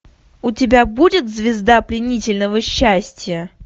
у тебя будет звезда пленительного счастья